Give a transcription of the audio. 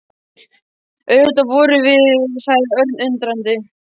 Auðvitað vorum það við sagði Örn undrandi.